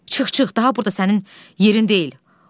Çıx, çıx, daha burda sənin yerin deyil.